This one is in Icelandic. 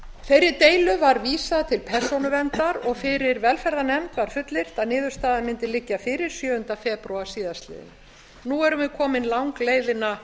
þeirri deilu var vísað til persónuverndar og fyrir velferðarnefnd var fullyrt að niðurstaða mundi liggja fyrir sjöunda febrúar síðastliðnum nú erum við komin langleiðina